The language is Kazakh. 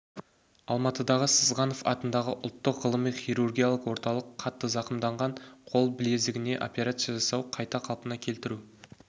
алматыдағы сызғанов атындағы ұлттық ғылыми хирургиялық орталық қатты зақымданған қол білезігіне операция жасау қайта қалпына келтіру